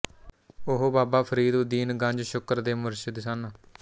ਉਹ ਬਾਬਾ ਫ਼ਰੀਦਉੱਦੀਨ ਗੰਜ ਸ਼ੁਕਰ ਦੇ ਮੁਰਸ਼ਿਦ ਸਨ